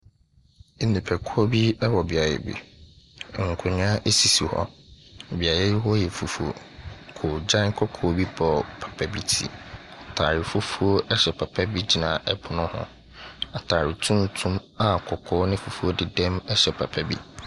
Nnipakuo bi wɔ beaeɛ bi. Nkonnwa sisi hɔ. Beaeɛ hɔ yi yɛ fufuo. Koogyan kɔkɔɔ bi bɔ papa bi ti. Atare fufuo hyɛ papa bi gyina pono ho. Atare tuntum a kɔkɔɔ ne fufuo dedam hyɛ papa bi.